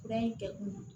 Fura in kɛ kun ye